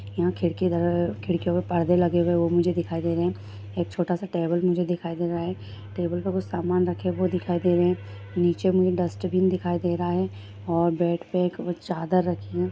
यहां खिड़की दर खिड़कियों पर पर्दे लगे हुए वो मुझे दिखाई दे रहे हैं एक छोटा-सा टेबल मुझे दिखाई दे रहा है टेबल पर कुछ सामान रखे वो दिखाई दे रहे है नीचे मुझे डस्टबिन दिखाई दे रहा है और बेड पर एक चादर रखी हैं।